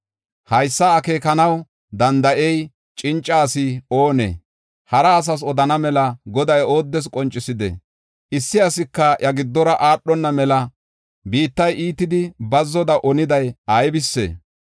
Haysa akeekanaw danda7iya cinca asi oonee? Hara asas odana mela Goday ooddes qoncisidee? Issi asika iya giddora aadhona mela biittay iitidi bazzoda oniday aybisee?